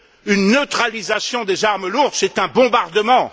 Une neutralisation des armes lourdes, c'est un bombardement.